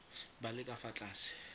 ba le ka fa tlase